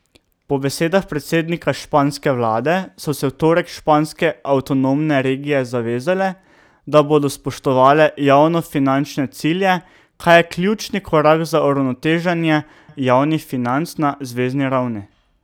Po besedah predsednika španske vlade so se v torek španske avtonomne regije zavezale, da bodo spoštovale javnofinančne cilje, kar je ključni korak za uravnoteženje javnih financ na zvezni ravni.